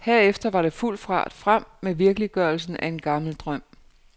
Herefter var det fuld fart frem med virkeliggørelsen af en gammel drøm.